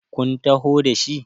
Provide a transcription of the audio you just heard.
kun taho da shi?